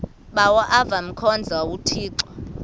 bawo avemkhonza uthixo